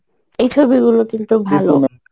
এই ছবিগুলা কিন্তু